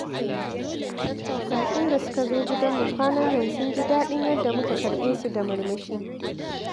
Baƙin da suka zo gidanmu kwanan nan sun ji daɗin yanda muka karɓe su da murmushi.